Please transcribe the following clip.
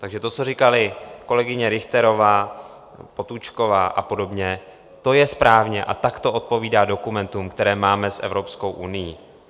Takže to, co říkaly kolegyně Richterová, Potůčková a podobně, to je správně a tak to odpovídá dokumentům, které máme s Evropskou unií.